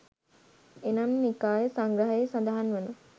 එනම් නිකාය සංග්‍රහයෙහි සඳහන් වන